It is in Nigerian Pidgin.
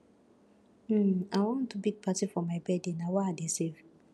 um i wan do big party for my birthday na why i dey save